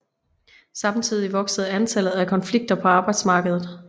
Samtidig voksede antallet af konflikter på arbejdsmarkedet